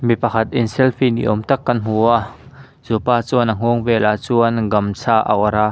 mi pakhat in selfie ni awm tak kan hmu a chu pa chuan a nghawng velah chuan gamchha a awrh a.